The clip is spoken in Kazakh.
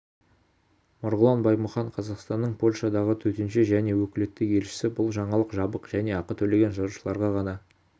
марғұлан баймұхан қазақстанның польшадағы төтенше және өкілетті елшісі бұл жаңалық жабық және ақы төлеген жазылушыларға ғана